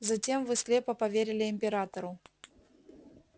затем вы слепо поверили императору